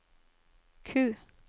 Q